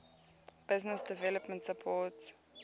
business development support